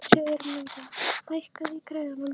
Sigurmunda, hækkaðu í græjunum.